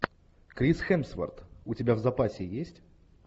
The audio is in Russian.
крис хемсворт у тебя в запасе есть